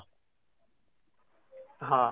ହଁ